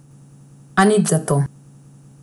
A nič zato!